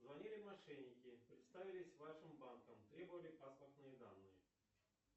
звонили мошенники представились вашим банком требовали паспортные данные